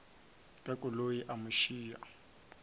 ka koloi a mo iša